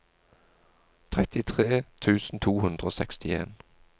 trettitre tusen to hundre og sekstien